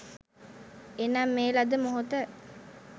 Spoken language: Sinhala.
එනම් මේ ලද මොහොත